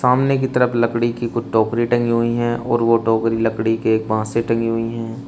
सामने की तरफ लकड़ी की कुछ टोकरी टंगी हुई हैं और वो टोकरी लकड़ी के एक बांस से टंगी हुई हैं।